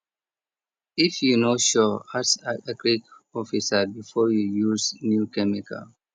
if you no sure ask agric officer before you use new chemical